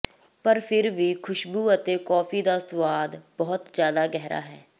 ਪਰ ਫਿਰ ਵੀ ਖੁਸ਼ਬੂ ਅਤੇ ਕੌਫੀ ਦਾ ਸੁਆਦ ਬਹੁਤ ਜਿਆਦਾ ਗਹਿਰਾ ਹੈ